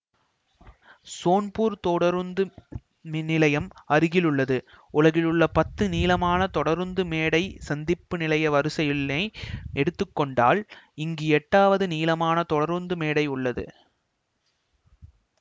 சோன்பூர் தொடருந்து நிலையம் அருகிலுள்ளது உலகிலுள்ள பத்து நீளமான தொடருந்து மேடை சந்திப்பு நிலைய வரிசையினை எடுத்து கொண்டால் இங்கு எட்டாவது நீளமான தொடருந்து மேடை உள்ளது